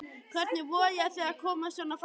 Hvernig vogarðu þér að koma svona fram við mig!